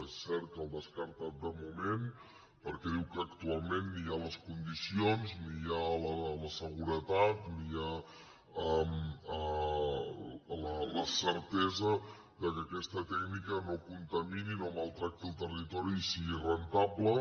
és cert que el descarta de moment perquè diu que actualment ni hi ha les condicions ni hi ha la seguretat ni hi ha la certesa que aquesta tècnica no contamini no maltracti el territori i sigui rendible